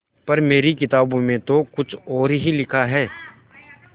पर मेरी किताबों में तो कुछ और ही लिखा है